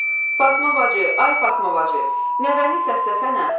Fatma bacı, ay Fatma bacı, nəvəni səsləsənə.